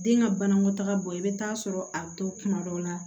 Den ka banakɔtaga bɔ i bɛ taa sɔrɔ a bɛ to kuma dɔ la